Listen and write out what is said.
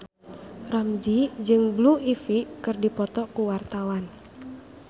Ramzy jeung Blue Ivy keur dipoto ku wartawan